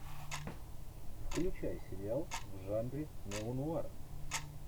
включай сериал в жанре неонуар